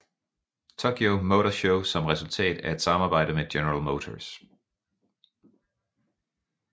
Tokyo Motor Show som resultatet af et samarbejde med General Motors